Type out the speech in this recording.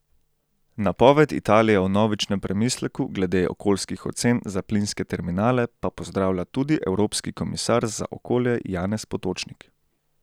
Napoved Italije o vnovičnem premisleku glede okoljskih ocen za plinske terminale pa pozdravlja tudi evropski komisar za okolje Janez Potočnik.